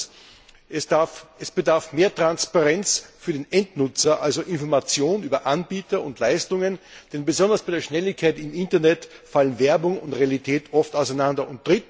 Und zweitens Es bedarf mehr Transparenz für den Endnutzer, also Information über Anbieter und Leistungen, denn besonders bei der Schnelligkeit im Internet fallen Werbung und Realität oft auseinander.